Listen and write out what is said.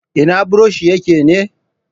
Ina buroshin yake ne?